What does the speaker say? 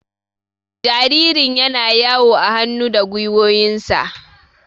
Jaririn yana yawo a hannu da gwiwoyinsa.